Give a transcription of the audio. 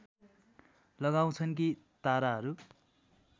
लगाउँछन् कि ताराहरू